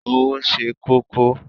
Owo se koko